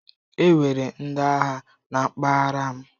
Enwere ndị agha na mpaghara m.